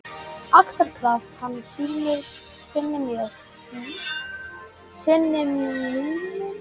Axarskaft handa syni mínum.